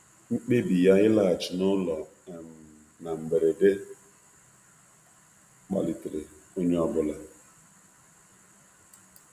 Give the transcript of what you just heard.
Mkpebi ya na mberede ịlaghachi n'ụlọ jidere onye ọ bụla na mberede